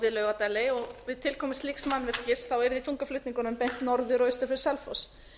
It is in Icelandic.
við laugardæli og við tilkomu slíks mannvirkis yrði þungaflutningunum beint norður og austur fyrir selfoss